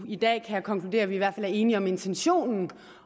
i dag kan jeg konkludere at vi i hvert fald er enige om intentionen